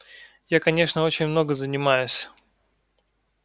я конечно очень много занимаюсь